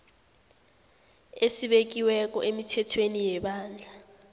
esibekiweko emithethweni yebandla